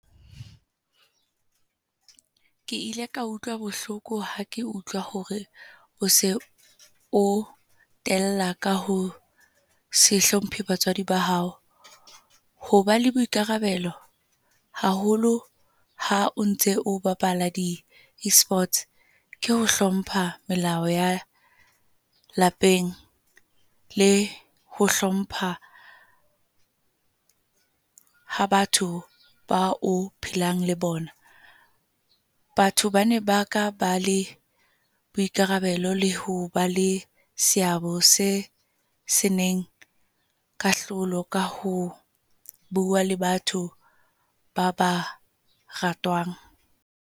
Ke ile ka utlwa bohloko ha ke utlwa hore o se o tella kaho se hlopheng batswadi ba hao. Hoba le boikarabelo, haholo ha o ntse o bapala di-eSports ke ho hlompha melao ya lapeng. Le ho hlompha, ha batho ba o phelang le bona. Batho bane ba ka ba le boikarabelo le ho ba le seabo se seneng kahlolo ka ho bua, le batho ba ba ratwang.